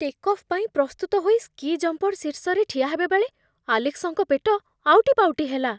Take off ପାଇଁ ପ୍ରସ୍ତୁତ ହୋଇ ସ୍କି ଜମ୍ପର ଶୀର୍ଷରେ ଠିଆ ହେବାବେଳେ ଆଲେକ୍ସଙ୍କ ପେଟ ଆଉଟିପାଉଟି ହେଲା।